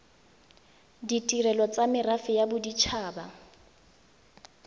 ditirelo tsa merafe ya bodit